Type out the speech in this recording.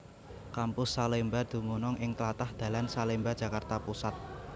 Kampus Salemba dumunung ing tlatah dalan Salemba Jakarta Pusat